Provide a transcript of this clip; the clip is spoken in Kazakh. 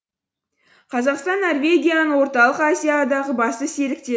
қазақстан норвегияның орталық азиядағы басты серіктесі